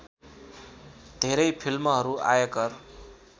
धेरै फिल्महरू आयकर